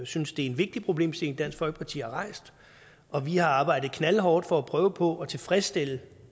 synes det er en vigtig problemstilling dansk folkeparti har rejst og vi har arbejdet knaldhårdt for at prøve på at tilfredsstille